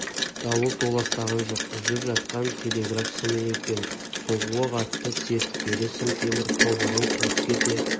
дауыл толастаған жоқ үзіліп жатқан телеграф сымы екен соғуы қатты серіппелі сым темір тобығын қиып кете